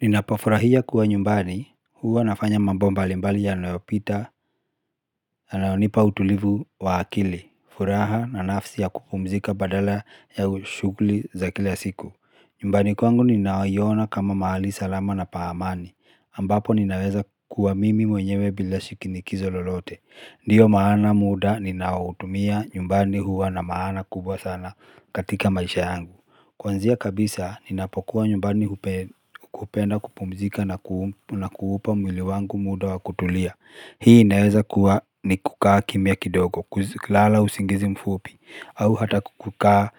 Ninapofurahia kuwa nyumbani, huwa nafanya mambo mbalimbali yanayopita, yanayonipa utulivu wa akili, furaha na nafsi ya kupumzika badala ya ushugli za kila siku. Nyumbani kwangu nina iyona kama mahali salama na paamani, ambapo ninaweza kuwa mimi mwenyewe bila shikinikizo lolote. Ndiyo maana muda, ninautumia nyumbani huwa na maana kubwa sana katika maisha yangu. Kwanzia kabisa ninapokuwa nyumbani kupenda kupumzika na kuupa mwili wangu muda wa kutulia Hii inaweza kuwa ni kukaa kimia kidogo kulala usingizi mfupi au hata kukukaa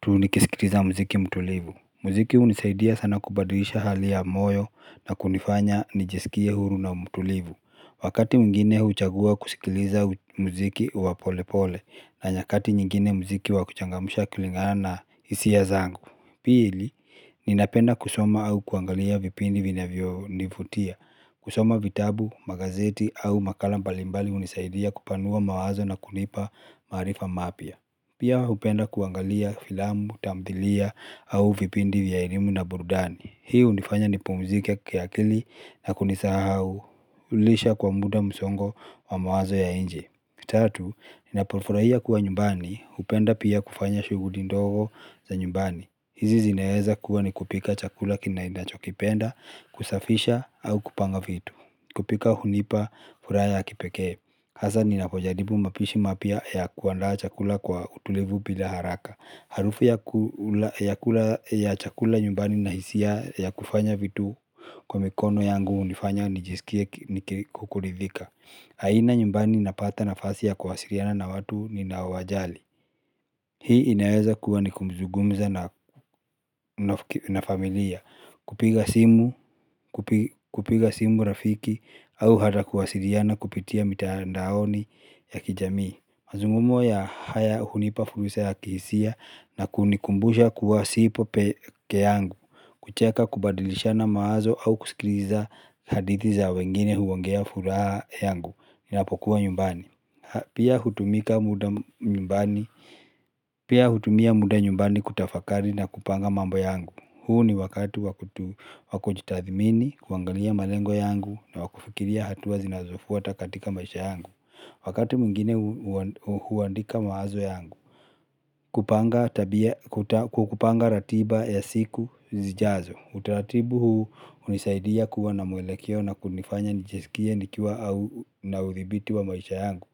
tu nikiskitiza mziki mtulivu Mziki unisaidia sana kubaduisha hali ya moyo na kunifanya nijesikie huru na mtulivu Wakati mwigine huuchagua kusikiliza mziki wa polepole na nyakati nyingine mziki wa kuchangamusha kulingana na hisiya zangu. Pili, ninapenda kusoma au kuangalia vipindi vina vio nivutia. Kusoma vitabu, magazeti au makala mbalimbali unisaidia kupanua mawazo na kunipa marifa mapya. Pia hupenda kuangalia filamu, tamthilia au vipindi vya elimu na burudani. Hiu unifanya nipumzike kiakili na kunisahaulisha kwa muda msongo wa mawazo ya inje. Mitatu, ninapofurahia kuwa nyumbani, hupenda pia kufanya shughulindogo za nyumbani. Hizi zineweza kuwa ni kupika chakula ninacho kipenda, kusafisha, au kupanga vitu. Kupika hunipa furaha ya kipeke. Hasa ninapojaribu mapishi mapya ya kuanda chakula kwa utulevu bila haraka. Harufu ya chakula nyumbani nahisia ya kufanya vitu kwa mikono yangu unifanya nijisikie kuridhika. Haina nyumbani napata nafasi ya kuwasiriana na watu ni nawajali Hii inaweza kuwa nikuzungumza na familia Kupiga simu rafiki au hata kuwasiliana kupitia mitandaoni ya kijami mazungumzo haya hunipa fursa ya kihisia na kunikumbusha kuwa sipo peke yangu kucheka kubadilisha na maazo au kusikiliza hadithi za wengine huongeza furaha yangu Ninapokuwa nyumbani Pia hutumia muda nyumbani kutafakari na kupanga mambo yangu huu ni wakatu wakujitathimini, kuangalia malengo yangu na wakufikiria hatuwa zinazofuwa takatika maisha yangu Wakati mwingine huandika mawazo yangu kupanga kupanga ratiba ya siku zijazo Utaratibu huu unisaidia kuwa na mwelekeo na kunifanya nijiskia nikiwa na uthibiti wa maisha yangu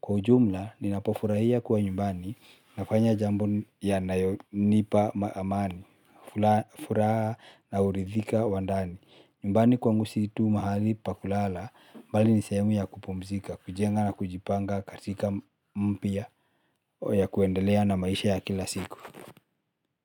Kwa ujumla ninapofurahia kuwa nyumbani nafanya jambo ya nayonipa amani fura na uridhika wandani nyumbani kwangu si tu mahali pakulala mbali nisehemu ya kupumzika, kujenga na kujipanga katika mpya ya kuendelea na maisha ya kila siku.